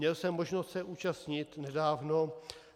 Měl jsem možnost se účastnit nedávno -